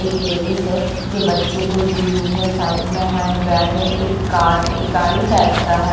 एक लेडिस है जो बच्चे को ली हुई है साइड में हैंड बैग है एक गाड एक गाड़ी टाइप का है।